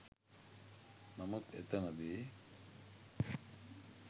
නමුත් එතනදී